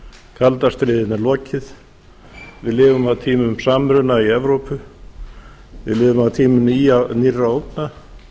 kalda stríðinu er lokið við lifum á tímum samruna í evrópu við lifum á tímum nýrra ógna